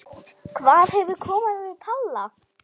Hvað hefur komið fyrir Palla?